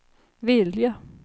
vilja